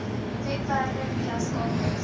webwerwe via skakels